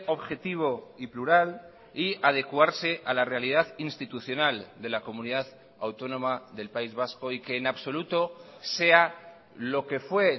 objetivo y plural y adecuarse a la realidad institucional de la comunidad autónoma del país vasco y que en absoluto sea lo que fue